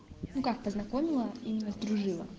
ну как познакомила именно сдружила